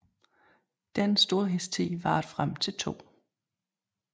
Denne storhedstid varede frem til 2